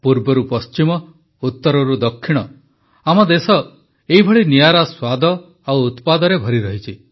ପୂର୍ବରୁପଶ୍ଚିମ ଉତ୍ତରରୁଦକ୍ଷିଣ ଆମ ଦେଶ ଏଇଭଳି ନିଆରା ସ୍ୱାଦ ଓ ଉତ୍ପାଦରେ ଭରି ରହିଛି